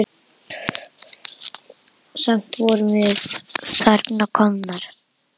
Samt vorum við þarna komnar.